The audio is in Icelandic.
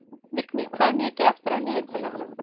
Vigný, hvað er mikið eftir af niðurteljaranum?